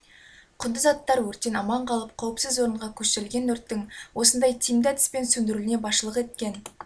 құнды заттар өрттен аман қалып қауіпсіз орынға көшірілген өрттің осындай тиімді әдіспен сөндірілуіне басшылық еткен